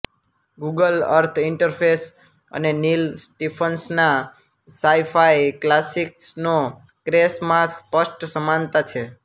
Google Earth interface અને Neal Stephenson ના sci fi classic Snow Crash માં સ્પષ્ટ સમાનતા છે